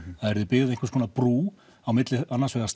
það yrði byggð einhvers konar brú á milli annars vegar